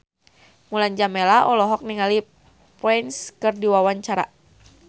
Mulan Jameela olohok ningali Prince keur diwawancara